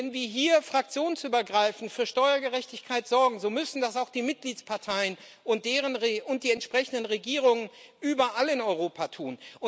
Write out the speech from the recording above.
Wenn wir hier fraktionsübergreifend für Steuergerechtigkeit sorgen, so müssen das auch die Mitgliedsparteien und die entsprechenden Regierungen überall in Europa tun.